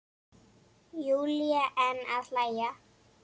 Júlía enn að hlæja.